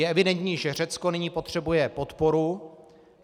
Je evidentní, že Řecko nyní potřebuje podporu.